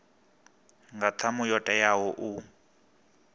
nga ṱhamu yo teaho u